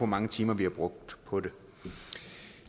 mange timer vi har brugt på det